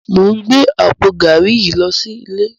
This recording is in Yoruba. Mó n gbé àpó gàrí yi lò silé